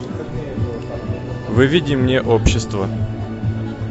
выведи мне общество